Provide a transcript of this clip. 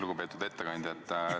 Lugupeetud ettekandja!